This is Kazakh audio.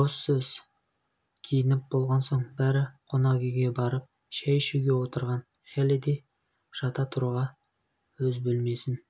бос сөз киініп болған соң бәрі қонақүйге барып шәй ішуге отырған хеллидэй жата тұруға өз бөлмесін